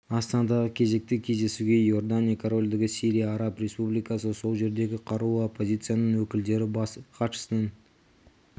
астанадағы кезекті кездесуге иордания корольдігі сирия араб республикасы сол жердегі қарулы оппозицияның өкілдері бас іатшысының